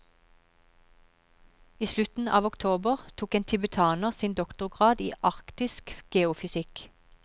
I slutten av oktober tok en tibetaner sin doktorgrad i arktisk geofysikk.